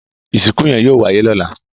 Ìsìnkú yẹn yóò wáyé lọ́la